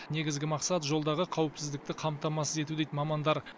негізгі мақсат жолдағы қауіпсіздікті қамтамасыз ету дейд мамандар